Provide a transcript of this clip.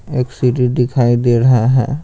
एक सीरी दिखाई दे रहा है।